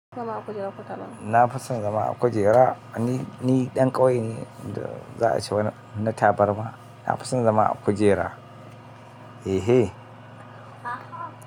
Zama a kujera ko tabarma. Na fason zama a kujera. Ni, ni ɗan ƙauye ne, da za a ce wani tabarma. Na fison zama a kujera, eh hen.